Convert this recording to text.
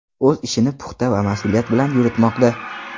O‘z ishini puxta va mas’uliyat bilan yuritmoqda.